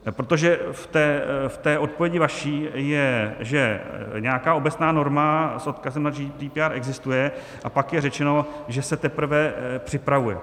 Protože v té odpovědi vaší je, že nějaká obecná norma s odkazem na GDPR existuje, a pak je řečeno, že se teprve připravuje.